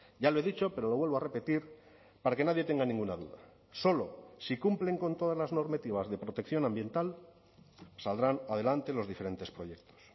ya lo he dicho pero lo vuelvo a repetir para que nadie tenga ninguna duda solo si cumplen con todas las normativas de protección ambiental saldrán adelante los diferentes proyectos